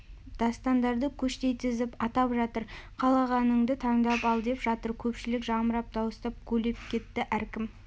дастандарды көштей тізіп атап жатыр қалағанынды таңдап ал деп жатыр көпшілік жамырап дауыстап гулеп кетті әркім